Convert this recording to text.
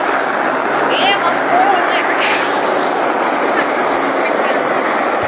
Lena skoðar sig kalt og rannsakandi í speglunum.